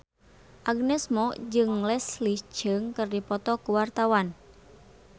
Agnes Mo jeung Leslie Cheung keur dipoto ku wartawan